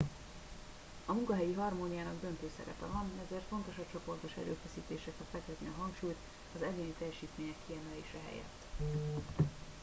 a munkahelyi harmóniának döntő szerepe van ezért fontos a csoportos erőfeszítésekre fektetni a hangsúlyt az egyéni teljesítmények kiemelése helyett